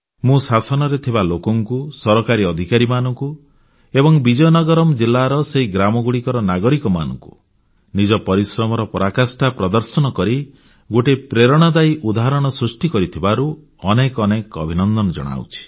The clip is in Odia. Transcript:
ମୁଁ ଶାସନରେ ଥିବା ଲୋକଙ୍କୁ ସରକାରୀ ଅଧିକାରୀମାନଙ୍କୁ ଏବଂ ବିଜୟନଗରମ୍ ଜିଲ୍ଲାର ସେହି ଗ୍ରାମଗୁଡ଼ିକର ନାଗରିକମାନଙ୍କୁ ନିଜ ପରିଶ୍ରମର ପରାକାଷ୍ଠା ପ୍ରଦର୍ଶନ କରି ଗୋଟିଏ ପ୍ରେରଣାଦାୟୀ ଉଦାହରଣ ସୃଷ୍ଟି କରିଥିବାରୁ ଅନେକ ଅନେକ ଅଭିନନ୍ଦନ ଜଣାଉଛି